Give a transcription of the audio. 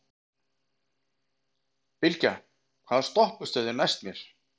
Bylgja, hvaða stoppistöð er næst mér?